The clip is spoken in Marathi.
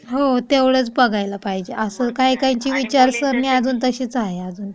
हो तेवढेच बघायला पाहिजे. अशी काही काही लोकांची विचारसरणी तशीच आहेत अजून पण.